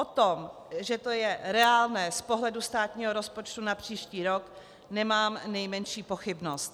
O tom, že to je reálné z pohledu státního rozpočtu na příští rok, nemám nejmenší pochybnost.